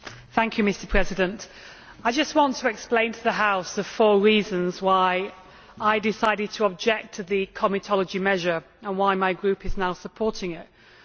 Mr President, I just want to explain to the House the four reasons why I decided to object to the comitology measure and why my Group is now supporting the resolution.